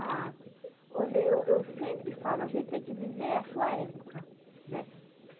Ah, olha, eu eu sempre falo, a gente tem que viver a sua época, né?